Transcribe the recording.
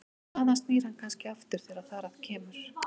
Þaðan snýr hann kannski aftur þegar þar að kemur.